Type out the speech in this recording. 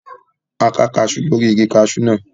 A ká kaasú lórí igi kaasú náà